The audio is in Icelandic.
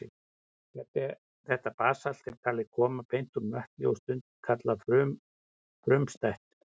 Þetta basalt er talið koma beint úr möttli og stundum kallað frumstætt.